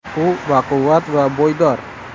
U baquvvat va bo‘ydor.